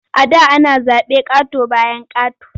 A da ana zaɓe ƙato-bayan ƙato.